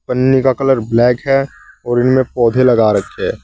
पन्नी का colour black है और उनमें पौधे लगा रखे।